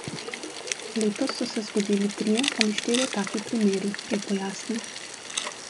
Letos so se zgodili trije ali štirje taki primeri, je pojasnil.